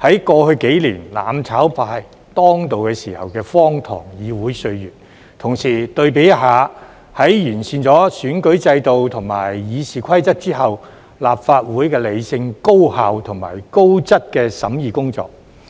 在過去數年"攬炒派"當道時的荒唐議會歲月，同時對比一下，在完善了選舉制度及《議事規則》之後，立法會的理性、高效及高質的審議工作。